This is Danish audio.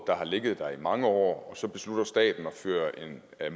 der har ligget der i mange år hvor staten beslutter at føre en